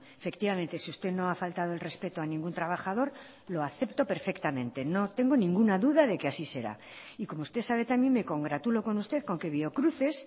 efectivamente si usted no ha faltado el respeto a ningún trabajador lo acepto perfectamente no tengo ninguna duda de que así será y como usted sabe también me congratulo con usted con que biocruces